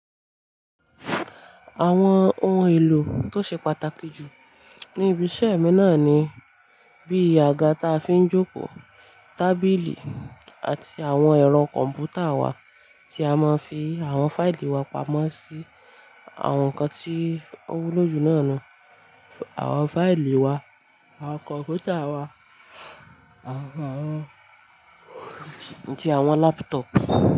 Àwọn ohun èlò tó ṣe pàtàkì jù ní ibi iṣẹ́ mi náà ni bí àga ta fi ń jókòó, tábìlì àti àwọn ẹ̀rọ kọ̀m̀pútà wa tí a máa ń fi àwọn fáìlì wa pamọ́ sí àwọn nǹkan tí ó wúlò jù náà ni àwọn fáìlì wa, àwọn kọ̀m̀pútà wa àti àwọn laptop.